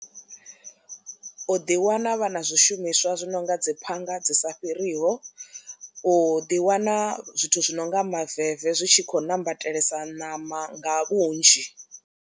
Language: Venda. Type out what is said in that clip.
U ḓi wana vhana zwishumiswa zwi nonga dzi phanga dzi sa fhiriho, u ḓi wana zwithu zwi nonga maveve zwi tshi khou nambatelesa ṋama nga vhunzhi.